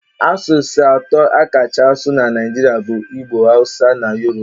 Asụsụ atọ a kacha asụ na Naịjirịa bụ igbo, hawusa na yoruba.